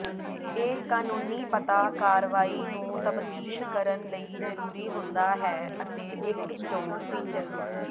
ਇਹ ਕਨੂੰਨੀ ਪਤਾ ਕਾਰਵਾਈ ਨੂੰ ਤਬਦੀਲ ਕਰਨ ਲਈ ਜ਼ਰੂਰੀ ਹੁੰਦਾ ਹੈ ਅਤੇ ਇੱਕ ਚੋਣ ਫੀਚਰ